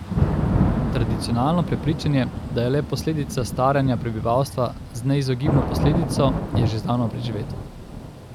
Tradicionalno prepričanje, da je le posledica staranja prebivalstva z neizogibno posledico, je že zdavnaj preživeto.